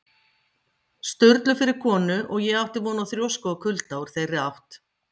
Sturlu fyrir konu, og ég átti von á þrjósku og kulda úr þeirri átt.